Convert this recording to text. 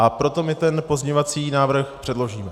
A proto my ten pozměňovací návrh předložíme.